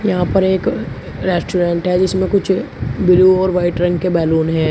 यहां पर एक रेस्टोरेंट है जिसमें कुछ ब्लू और वाइट रंग के बैलून हैं।